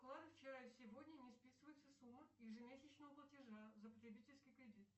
вчера сегодня не списывается сумма ежемесячного платежа за потребительский кредит